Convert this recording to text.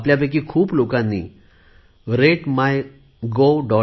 आपल्यापैकी खूप लोकांनी राते माय government